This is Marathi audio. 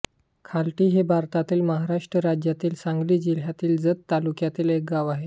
खालटी हे भारतातील महाराष्ट्र राज्यातील सांगली जिल्ह्यातील जत तालुक्यातील एक गाव आहे